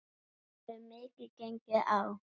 Það hefur mikið gengið á.